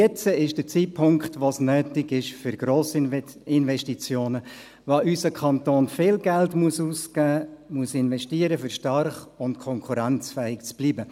Jetzt ist der Zeitpunkt, wo es nötig ist für Grossinvestitionen, wo unser Kanton viel Geld ausgeben muss, investieren muss, um stark und konkurrenzfähig zu bleiben.